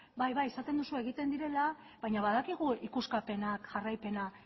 bai bai esaten duzu egiten direla baina badakigu ikuskapenak jarraipena